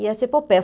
E essa epopeia.